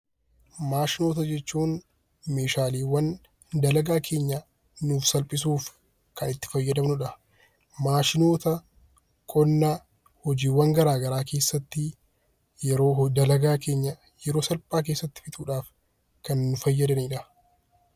Maashinoota jechuun meeshaaleewwan dalagaa keenya nuuf salphisuuf kan itti fayyadamnu dha. Maashinoota qonna hojiiwwan garaa garaa keessatti yeroo dalagaa keenya yeroo salphaa keessatti fixuu dhaaf kan nu fayyadani dha.